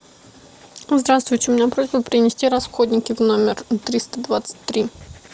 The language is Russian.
здравствуйте у меня просьба принести расходники в номер триста двадцать три